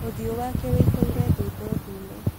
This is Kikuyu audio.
ũthiũ wake wĩihũire thundo ndune.